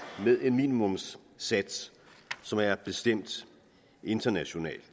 med en minimumssats som er bestemt internationalt